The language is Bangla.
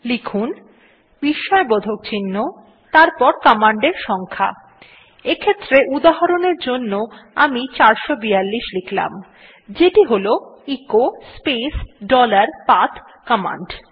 লিখুন বিস্ময়বোধক চিহ্ন তারপর কমান্ডের সংখ্যা এক্ষেত্রে উদাহরণ এর জন্য আমি 442 লিখলাম যেটি হল echo space dollar path command